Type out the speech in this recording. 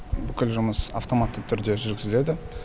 бүкіл жұмыс автоматты түрде жүргізіледі